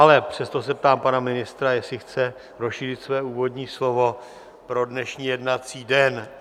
Ale přesto se ptám pana ministra, jestli chce rozšířit svoje úvodní slovo pro dnešní jednací den.